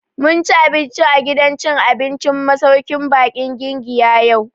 Mun ci abinci a gidan cin abincin masauƙin baƙin Giginya yau